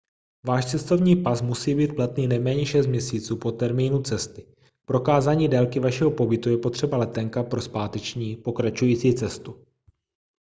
váš cestovní pas musí být platný nejméně 6 měsíců po termínu cesty. k prokázání délky vašeho pobytu je potřeba letenka pro zpáteční/pokračující cestu